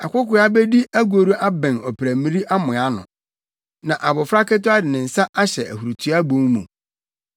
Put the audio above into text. Akokoaa bedi agoru abɛn ɔprammiri amoa ano, na abofra ketewa de ne nsa ahyɛ ahurutoa bon mu.